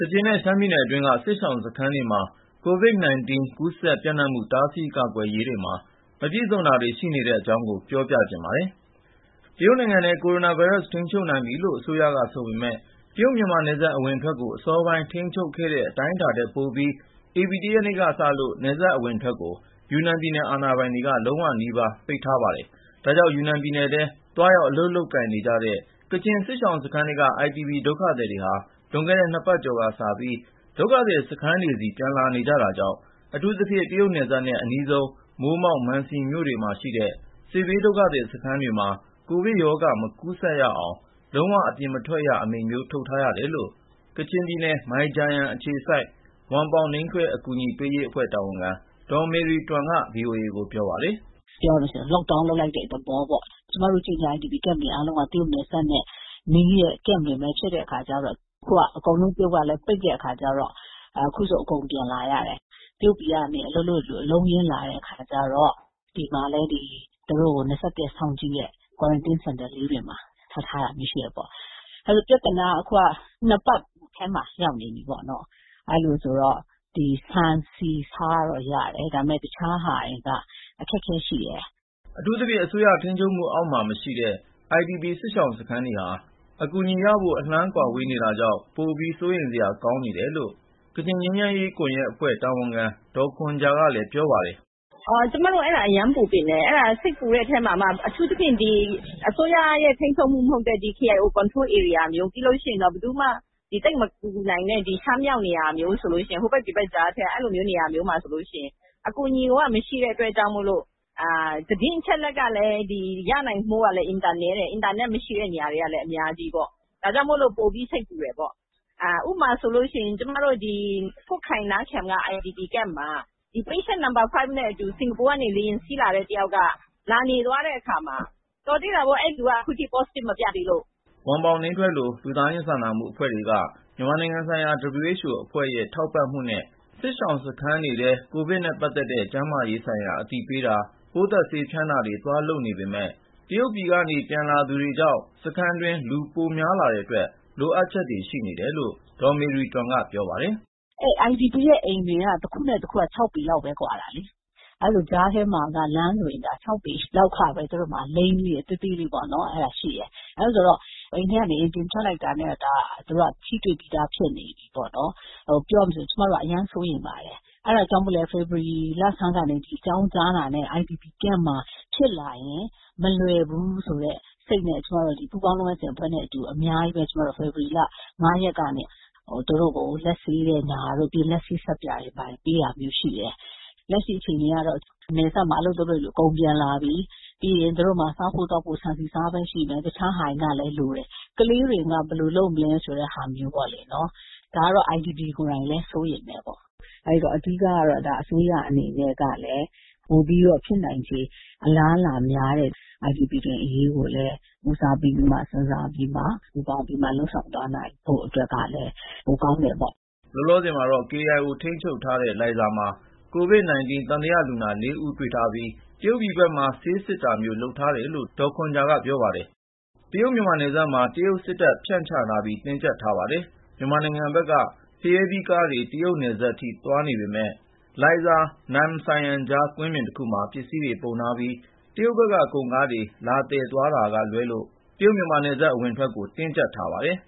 ကချင်နဲ့ ရှမ်းပြည်နယ်အတွင်းက စစ်ရှောင်စခန်းတွေမှာ COVID-19 ကူးစက်ပျံ့နှံ့မှု တားဆီးကာကွယ်ရေးမှာ မပြည့်စုံတာတွေ ရှိနေပါတယ်။ အပြည့်အစုံကို ကိုဉာဏ်ဝင်းအောင်က ဆက်သွယ်မေးမြန်းပြီး တင်ပြပေးထားပါတယ်။ တရုတ်နိုင်ငံထဲမှာ ကိုရိုနာဗိုင်းရပ်စ်ကို ထိန်းချုပ်နိုင်ပြီလို့ အစိုးရက ဆိုပေမယ့် တရုတ်-မြန်မာနယ်စပ် အဝင်အထွက်ကို အစောပိုင်း ထိန်းချုပ်ခဲ့တဲ့ အတိုင်းအတာထက် ပိုပြီး ဧပြီ ၁ ရက်နေ့ကစလို့ နယ်စပ်အဝင်အထွက်ကို ယူနန်ပြည်နယ် အာဏာပိုင်တွေက လုံးဝနီးပါး ပိတ်ထားပါတယ်။ ဒါကြောင့် ယူနန်ပြည်နယ်ထဲ သွားရောက်အလုပ်လုပ်ကိုင်နေကြတဲ့ ကချင်စစ်ရှောင်စခန်းထဲက IDP ဒုက္ခသည်တွေဟာ လွန်ခဲ့တဲ့ နှစ်ပတ်ကျော်ကစပြီး ဒုက္ခသည်စခန်းတွေဆီ ပြန်လာနေကြတာကြောင့် အထူးသဖြင့် တရုတ်နယ်စပ်နဲ့ အနီးဆုံး မိုးမောက်၊ မန်စီမြို့နယ်တွေမှာရှိတဲ့ စစ်ဘေးဒုက္ခသည်စခန်းတွေမှာ ကိုဗစ်ရောဂါ မကူးစက်ရအောင် လုံးဝ အပြင်မထွက်ရ Lockdown အမိန့်မျိုး ထုတ်ထားရတယ်လို့ ကချင်ပြည်နယ် မိုင်ဂျာယန်အခြေစိုက် ဝမ်ပေါင်နိမ်းထွဲ အကူအညီပေးရေးအဖွဲ့ တာဝန်ခံ ဒေါ်မေရီတွမ်က ဗွီအိုအေကို ပြောပါတယ်။ “ပြောရမယ်ဆိုရင် Lockdown လုပ်လိုက်တဲ့ သဘောပေါ့၊ ကျမတို့ ကချင် IDP စခန်းတွေ အားလုံးက တရုတ်နယ်စပ်နဲ့နီးတဲ့ စခန်းတွေပဲ ဖြစ်တဲ့အခါကျတော့ အခုက တရုတ်က အကုန်လုံး ပိတ်လိုက်တဲ့အခါကျတော့ အခုဆို အကုန်ပြန်လာကြတယ်။ တရုတ်ပြည်မှာ သွားအလုပ်လုပ်တဲ့သူတွေ အလုံးအရင်းနဲ့ ပြန်လာတဲ့အခါကျတော့ ဒီမှာလည်း သူတို့ကို ၂၁ ရက် စောင့်ကြည့်တဲ့ Quarantine Center လေးတွေမှာ ထားထားတာမျိုး ရှိတယ်ပေါ့။ ပြဿနာက အခုက ၂ ပတ်ထဲမှာ ရောက်နေပြီပေါ့။ အဲလိုဆိုတော့ ခုက ဆန်ဆီဆားတော့ ရတယ်၊ ဒါပေမယ့် အခြားဟာတွေက အခက်အခဲရှိတယ်။” အထူးသဖြင့် အစိုးရထိန်းချုပ်မှုအောက်မှာ မရှိတဲ့ IDP စစ်ရှောင်စခန်းတွေဟာ အကူအညီရဖို့ အလှမ်းဝေးနေတာကြောင့် ပိုပြီး စိုးရိမ်စရာ ကောင်းနေတယ်လို့ ကချင်ငြိမ်းချမ်းရေးကွန်ရက်အဖွဲ့ တာဝန်ခံ ဒေါ်ခွန်ဂျာကလည်း ပြောပါတယ်။ “ကျမတို့ အဲ့ဒါ အရမ်းပူပန်တယ်။ စိတ်ပူတဲ့အထဲမှာမှ အထူးသဖြင့် အစိုးရထိန်းချုပ်မှု မဟုတ်တဲ့ KIO ထိန်းချုပ်ဧရိယာလို နေရာမျိုး၊ ပြီးလို့ရှိရင် ဘယ်သူမှ သိပ်မကူညီနိုင်တဲ့ ရှမ်းပြည်မြောက်ပိုင်း ဟိုဘက်ဒီဘက်ကြားထဲက နေရာမျိုးဆိုရင် အကူအညီက မရှိတဲ့အတွက်ကြောင့်မို့လို့၊ အင်တာနက်မရှိတဲ့ နေရာတွေက အများကြီးဆိုတော့ သတင်းအချက်အလက်ကလည်း ရနိုင်ဖို့ အင်မတန်နည်းတယ်။ ဒါကြောင့်မို့လို့ ပိုပြီး စိတ်ပူတယ်ပေါ့။ ဥပမာဆိုရင် ကျမတို့ ကွတ်ခိုင် နမ်းဖျန်က ဒီ IDP Camp မှာ သေသွားပြီဖြစ်တဲ့ ဒီ လူနာနံပါတ် ၅ နဲ့အတူ စင်ကာပူကနေ လေယာဉ်စီးလာတဲ့ တယောက်က လာနေသွားတဲ့အခါမှာ၊ တော်သေးတာပေါ့ အဲ့ဒီလူက Positive မပြသေးလို့။” ဝမ်ပေါင်နိမ်းထွဲလို လူသားချင်းစာနာမှု အဖွဲ့တွေက မြန်မာနိုင်ငံဆိုင်ရာ WHO အဖွဲ့ရဲ့ ထောက်ပံ့မှုနဲ့ စစ်ရှောင်စခန်းတွေထဲ ကိုဗစ်နဲ့ပတ်သက်တဲ့ ကျန်းမာရေးဆိုင်ရာ အသိပညာပေးတာ၊ ပိုးသတ်ဆေးဖျန်းတာတွေ သွားလုပ်နေပေမယ့် တရုတ်ပြည်ကနေ ပြန်လာသူတွေကြောင့် စခန်းတွင်း လူပိုများလာတဲ့အတွက် လိုအပ်ချက်တွေ ရှိနေတယ်လို့ ဒေါ်မေရီတွမ်က ပြောပါတယ်။ “အဲ့ဒီ IDP တွေရဲ့အိမ်က တခုနဲ့တခုက ၆ ပေလောက်ပဲ ကွာတာလေ။ အဲလိုဆိုတော့ အိမ်တွေကြားမှာ လမ်းလေးတွေက ၆ ပေလောက် သေးသေးလေးတွေပဲရှိတာ။ အိမ်ထဲကနေ အိမ်ပြင်ထွက်လိုက်တာနဲ့ သူတို့က တယောက်နဲ့တယောက် ထိတွေ့ပြီးသား ဖြစ်နေပြီပေါ့နော်။ ပြောရမယ်ဆို ကျမတို့က အရမ်းစိုးရိမ်ပါတယ်။ အဲဒါကြောင့်ပဲ ဖေဖေါ်ဝါရီလဆန်းမှာ ဒီရောဂါအကြောင်း ကြားတာနဲ့ ဒီဒုက္ခသည်စခန်းမှာ ဖြစ်လာရင် မလွယ်ဘူးဆိုတဲ့ စိတ်နဲ့၊ ကျမတို့လည်း စခန်းထဲက ကိုဗစ်ကာကွယ်ရေး ပူးပေါင်းလုပ်ငန်းစဉ်အဖွဲ့နဲ့ အတူ ဖေဖော်ဝါရီ ၅ ရက်ကစပြီး သူတို့ကို လက်ဆေးတဲ့ ပညာပေးတွေ၊ လက်ဆေးဆပ်ပြာ ဝေပေးတာတွေ ရှိတယ်။ လက်ရှိအခြေအနေကတော့ နယ်စပ်မှာ အလုပ်သွားလုပ်တဲ့သူတွေ အကုန်ပြန်လာကြပြီ။ ပြီးရင် သူတို့မှာ စားဖို့ သောက်ဖို့ ဆန်ဆီဆားပဲရှိမယ်၊ အခြားဟာတွေက လိုတယ်။ ကလေးတွေက ဘယ်လိုလုပ်မလဲ ဆိုတဲ့ဟာမျိုးပေါ့လေ၊ ဒါမျိုးကို စစ်ရှောင်တွေကိုယ်တိုင်ကလည်း စိုးရိမ်တယ်။ အဓိကကတော့ အစိုးရအနေနဲ့ကလည်း ပိုပြီး ဖြစ်နိုင်ခြေ အလားအလာများတဲ့ ဒုက္ခသည်တွေ အရေးကိုလည်း ဦးစားပေး စဉ်းစားပြီးတော့ ပူးပေါင်းလုပ်ဆောင်ပေးသွားနိုင်ရင် ပိုကောင်းမယ်လို့ မြင်ပါတယ်။” လောလောဆယ်မှာတော့ KIO ထိန်းချုပ်ထားတဲ့ လိုင်ဇာမှာ COVID-19 သံသယလူနာ ၄ ဦးတွေ့ထားပြီး တရုတ်ပြည်ဘက်မှာ ဆေးစစ်တာမျိုး လုပ်ထားတယ်လို့ ဒေါ်ခွန်ဂျာက ပြောပါတယ်။ တရုတ်-မြန်မာနယ်စပ်မှာ တရုတ်စစ်တပ် ဖြန့်ချထားပြီး တင်းကျပ်ထားပါတယ်။ မြန်မာနိုင်ငံဘက်က ဖရဲသီးကားတွေ တရုတ်နယ်စပ်နားထိ သွားနေပေမယ့် လိုင်ဇာ-နမ်ဆိုင်ယမ်ကြား ကွင်းပြင်တခုမှာ ပစ္စည်းတွေပုံထားပြီး တရုတ်ဘက်က ကုန်ကားတွေ လာသယ်သွားတာကလွဲလို့ တရုတ်-မြန်မာနယ်စပ် အဝင်အထွက်ကို တင်းကျပ်ထားပါတယ်